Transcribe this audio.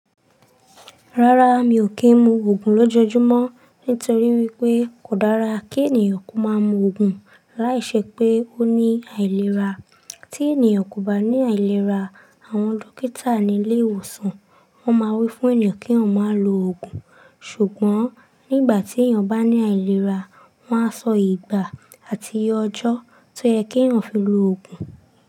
Rárá, mi ò kí ń mu Ògùn lójoojúmọ́ nítorí wípé kò dára kí ènìyàn kó máa ń mu Ògùn láìṣẹ pé ó ní àìlera. Tí ènìyàn kò bá ní àìlera, àwọn dókítà ní ilé ìwòsàn won máa wí fún ènìyàn kí wọ́n má lo Ògùn. Ṣùgbọ́n nígbà tí èeyan bá ní àìlera, wọ́n á sọ ìgbà àti ọjọ́ tó yẹ kí wọ́n fi lo Ògùn.